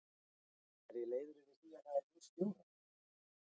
Er ég leiður yfir því að það er nýr stjóri?